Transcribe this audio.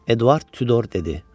Eduard Tudor dedi: